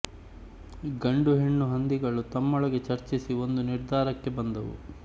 ಗಂಡು ಹೆಣ್ಣು ಹಂದಿಗಳು ತಮ್ಮೊಳಗೆ ಚರ್ಚಿಸಿ ಒಂದು ನಿರ್ಧಾರಕ್ಕೆ ಬಂದವು